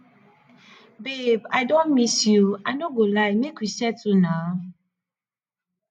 babe i don miss you i no go lie make we settle na